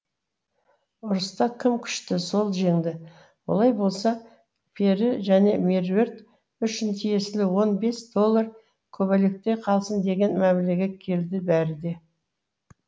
ұрыста кім күшті сол жеңді олай болса пері және меруерт үшін тиесілі он бес доллар көбелекте қалсын деген мәмлеге келді бәрі